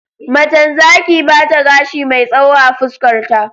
Macen Zaki bata gashi mai tsawo a fuskar ta